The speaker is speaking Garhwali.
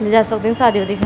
लीजे सक्दिन सादियों --